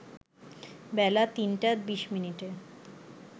বেলা ৩টা ২০ মিনিটে